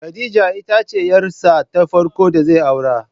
Khadiya ita ce yar sa ta farko da zai aurar